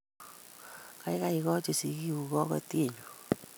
Gaigai, igochi sigiiguk kogotyonyu